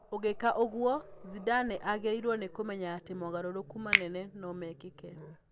Ũngĩka ũguo, Zidane agĩrĩirũo nĩ kũmenya atĩ mogarũrũku manene no mekĩke.